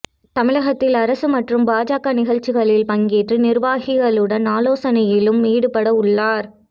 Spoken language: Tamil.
தமிழகத்தில் அரசு மற்றும் பாஜக நிகழ்ச்சிகளில் பங்கேற்று நிர்வாகிகளுடன் ஆலோசனையிலும் ஈடுபடவுள்ளார்